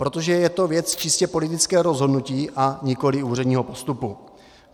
Protože je to věc čistě politického rozhodnutí, a nikoli předního postupu.